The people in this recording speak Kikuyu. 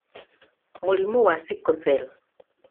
Mũrimũ wa Sickle Cell;